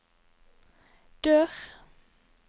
dør